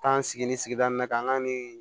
Taa n sigi nin sigida in na ka n ka nin